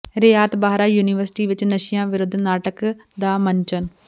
ਰਿਆਤ Bahra university ਵਿੱਚ ਨਸ਼ਿਆਂ ਵਿਰੱੁਧ ਨਾਟਕ ਦਾ ਮੰਚਨ